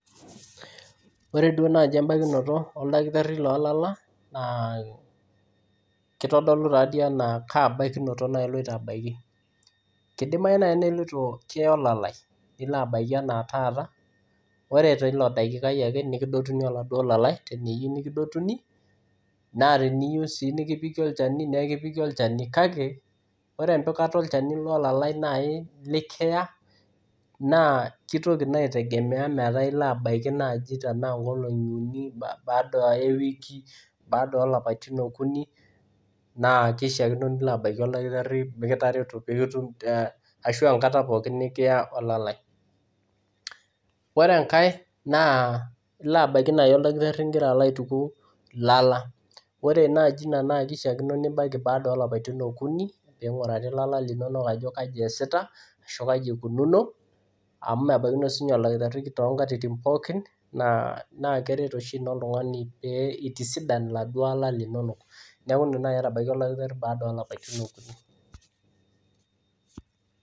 Ore duo naaji embaikinoto oldakitari loolala naa kitodolu taadii enaa kaa baikinoto iloito abaiki. Kidimayu naai niloito kiya olalai nilo abaiki enaa taata, ore teilo dakikai ake nekidotuni oladuo lalai teniyieu nekidotuni naa teniyieu sii nekipiki olchani nekipiki olchani kake, ore empikata o olchani olalai naai likiya naa kitoki naa aitegemea metaa ilo abaiki naaji tenaa nkolong'i uni baada ewiki, baada oolapaitin okuni, naa kishiakino nilo abaiki oldakitari mekitareto peetum, ashuu enkata pookin nikiya olalai. Ore enkae naa ilo abaiki naai oldakitari nigira alo aituku ilala. Ore naaji ina naa kishiakino nibaiki baada oo lapaitin okuni pee ing'uraari ilala linonok ajo kanyoo eesita ashu kai ikununo amu mebaikinoyu siininye oldakitari toonkatitin pookin naa keret oshi ina oltung'ani pee itisidan iladuo ala linonok. Neeku indim naai atabaiki oldakitari baada oo lapaitin okuni.